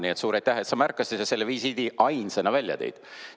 Nii et suur aitäh, et sa märkasid ja selle visiidi ainsana välja tõid!